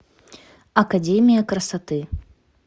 академия красоты